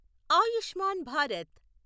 Ayushman Bharat